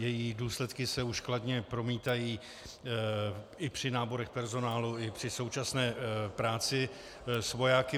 Její důsledky se už kladně promítají i při náborech personálu i při současné práci s vojáky.